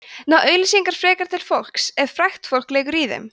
ná auglýsingar frekar til fólks ef frægt fólk leikur í þeim